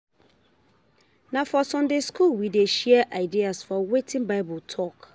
Na for Sunday school we dey share idea for wetin Bible tok.